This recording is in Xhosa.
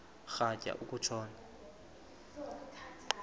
rhatya uku tshona